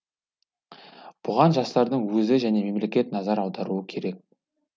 бұған жастардың өзі және мемлекет назар аударуы керек